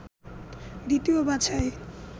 দ্বিতীয় বাছাই